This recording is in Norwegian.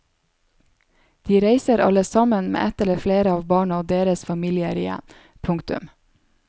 De reiser alle sammen med ett eller flere av barna og deres familier igjen. punktum